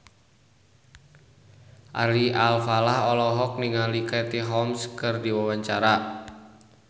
Ari Alfalah olohok ningali Katie Holmes keur diwawancara